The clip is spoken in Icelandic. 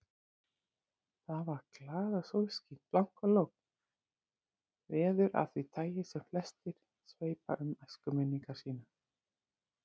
Það var glaðasólskin, blankalogn, veður af því tagi sem flestir sveipa um æskuminningar sínar.